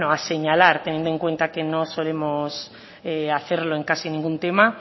a señalar teniendo en cuenta que no solemos hacerlo en caso ningún tema